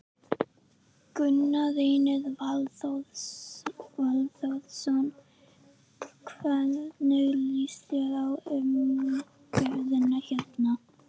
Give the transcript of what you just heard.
Gunnar Reynir Valþórsson: Hvernig líst þér á umgjörðina hérna?